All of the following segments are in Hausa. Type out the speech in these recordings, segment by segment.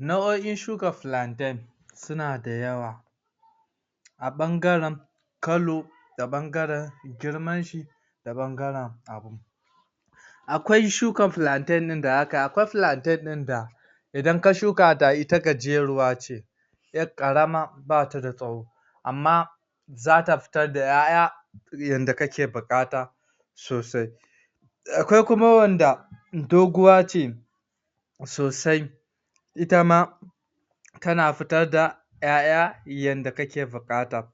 Na'o'in Shuka Plantain suna da yawa a ɓangaren color, da ɓangaren girman shi da ɓangaren abun. Akwai shuka plantain ɗin da aka, akwai palntain ɗin da idan ka shuka ta, ita gajeruwa ce, 'yar ƙarama ba ta da tsawo amma zata fitar da 'ya'ya yanda kake buƙata sosai akwai kuma wanda doguwa ce sosai itama tana fitar da 'ya'ya yanda kake buƙata.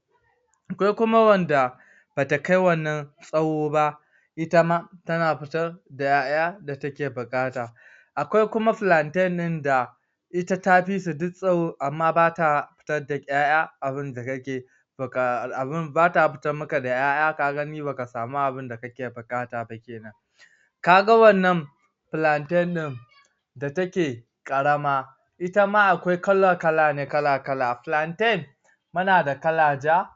Akwai kuma wanda bata kai wannan tsawo ba, itama tana fitar da 'ya'ya da kuke buƙata. Akwai kuma plantain din da ita ta fisu duk tsawo amma amma bata fitar da 'y'aya abunda kake buka.. bata fitar maka da 'ya'ya, ka gani ba ka sami abunda kake buƙata ba kenan. Ka ga wannan plantain ɗin, da take ƙarama, itama akwai kala-kala da kala-kala. Plantain muna da kala Ja,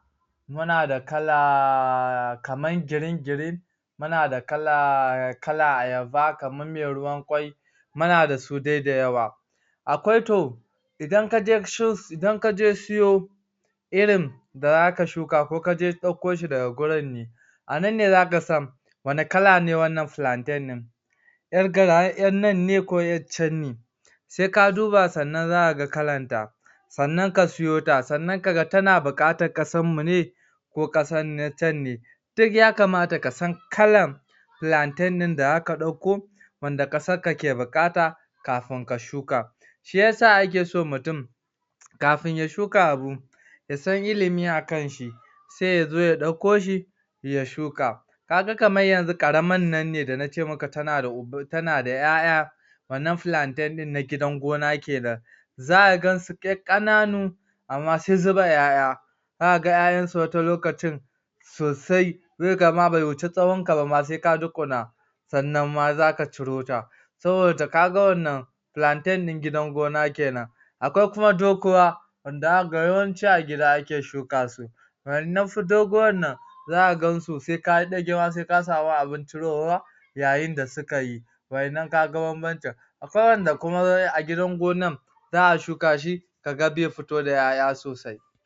muna da kala..., kamar green-green, muna da kalar ayaba kamar mai ruwan ƙwai, muna da su dai da yawa. Akwai to, idan kaje si idan kaje siyo irin da za ka shuka, ko ka je ɗauko shi daga gurin ne anan ne za ka san wanne kala ne wannan plantain ɗin 'yar gar 'yar nann ne ko 'yar can ne. Sai ka duba sannan za ka ga kalanta, sannan ka siyota sannan ka ga tana buƙatar kasarmu ne ko ƙasar can ne? Duk ya kamata ka san kalan plantain ɗin da za ka ɗauko, wanda ƙasarka ke buƙata, kafin ka shuka. Shi ya sa ake so mutum kafin ya shuka abu ya san ilimi akan shi sai ya zo ya ɗauko shi ya shuka. Ka ga kamar yanzu ƙaraman nanne da nace maka tana da 'ya'ya wannan plantain ɗin na gidan gona kenan, zaka gansu duk ƙananu amma sai zuba 'ya'ya. Za ka ga 'ya'yansu wata lokacin sosai sai ka gama bai wuci tsawon ka bama, sai ka dukuna sannan ma za ka ciro ta, saboda ka ga wannan plantain din gidan gona kenan. Akwai kuma doguwa, wanda a ka ga, yawanci a gida ake shukasu wa'yannan fa doguwarnan za ka gansu, sai ka yi ɗage ma, sai ka sami abin cirowa yayin da suka yi wa'yannan ka ga banbancin. Akwai waɗanda kuma sai a gidan gonan za'a shuka shi ka ga zai fito da 'ya'ya sosai.